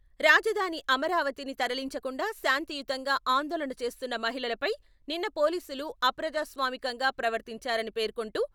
రాజధాని అమరావతి ని తరలించకుండా శాంతియుతంగా ఆందోళన చేస్తున్న మహిళలపై నిన్న పోలీసులు అప్రజా స్వామికంగా ప్రవర్తించారని పేర్కొంటూ..